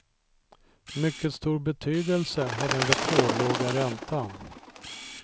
Mycket stor betydelse har den rekordlåga räntan.